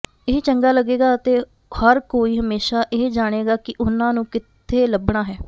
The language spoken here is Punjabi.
ਇਹ ਚੰਗਾ ਲੱਗੇਗਾ ਅਤੇ ਹਰ ਕੋਈ ਹਮੇਸ਼ਾ ਇਹ ਜਾਣੇਗਾ ਕਿ ਉਹਨਾਂ ਨੂੰ ਕਿੱਥੇ ਲੱਭਣਾ ਹੈ